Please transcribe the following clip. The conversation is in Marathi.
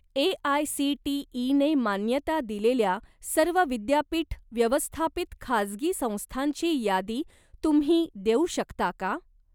ए.आय.सी.टी.ई.ने मान्यता दिलेल्या सर्व विद्यापीठ व्यवस्थापित खाजगी संस्थांची यादी तुम्ही देऊ शकता का?